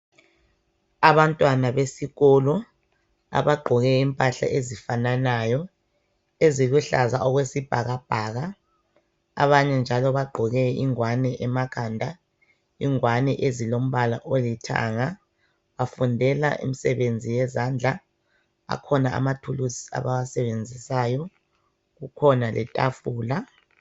Abantwana besikolo abagqoke impahla ezifananayo eziluhlaza okwesibhakabhaka abanye njalo bagqoke ingwane emakhanda. Ingwane ezilombala olithanga, bafundela imsebenzi yezandla. Akhona amathuluzi abawasebenzisayo, kukhona letafula.